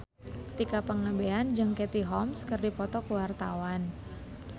Tika Pangabean jeung Katie Holmes keur dipoto ku wartawan